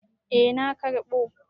Eh na karɓo.